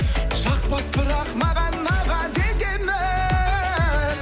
жақпас бірақ маған аға дегенің